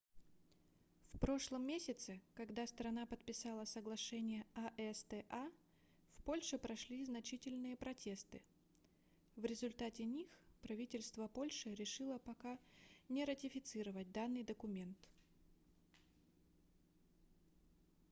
в прошлом месяце когда страна подписала соглашение acta в польше прошли значительные протесты в результате них правительство польши решило пока не ратифицировать данный документ